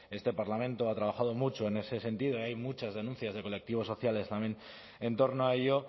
este parlamento ha trabajado mucho en ese sentido y hay muchas denuncias de colectivos sociales también en torno a ello